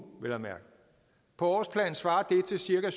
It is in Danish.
vel at mærke på årsplan svarer det til cirka